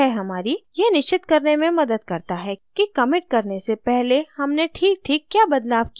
यह हमारी यह निश्चित करने में मदद करता है कि कमिट करने से पहले हमने ठीकठीक क्या बदलाव किये हैं